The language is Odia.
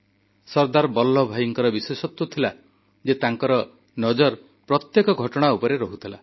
ସର୍ଦ୍ଦାର ବଲ୍ଲଭଭାଇଙ୍କର ବିଶେଷତ୍ୱ ଥିଲା ଯେ ତାଙ୍କର ନଜର ପ୍ରତ୍ୟେକ ଘଟଣା ଉପରେ ରହୁଥିଲା